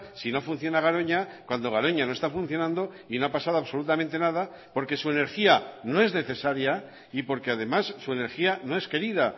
si no funciona garoña cuando garoña no está funcionando y no ha pasado absolutamente nada porque su energía no es necesaria y porque además su energía no es querida